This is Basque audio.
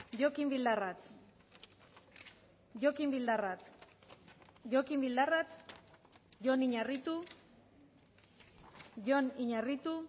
jokin bildarratz jokin bildarratz jokin bildarratz jon iñarritu jon iñarritu